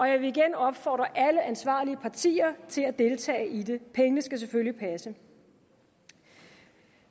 jeg vil igen opfordre alle ansvarlige partier til at deltage i det pengene skal selvfølgelig passe